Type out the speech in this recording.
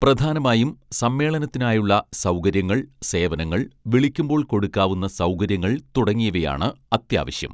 പ്രധാനമായും സമ്മേളനത്തിനായുള്ള സൗകര്യങ്ങൾ സേവനങ്ങൾ വിളിക്കുമ്പോൾ കൊടുക്കാവുന്ന സൗകര്യങ്ങൾ തുടങ്ങിയവയാണ് അത്യാവശ്യം